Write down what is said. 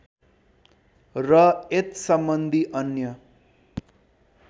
र एतत्सम्बन्धी अन्य